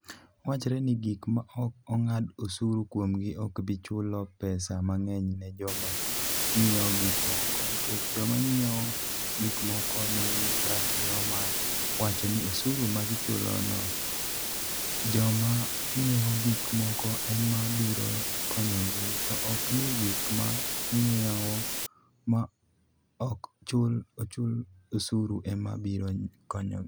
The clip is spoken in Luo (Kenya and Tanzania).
Wachre ni gik ma ok ong'ad osuru kuomgi ok bi chulo pesa mang'eny ne joma ng'iewo gik moko, nikech joma ng'iewo gik moko nigi ratiro mar wacho ni osuru ma gichulo ne joma ng'iewo gik moko e ma biro konyogi, to ok ni gik ma ng'iewo ma ok ochul osuru ema biro konyogi.